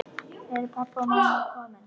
Eru pabbi og mamma komin?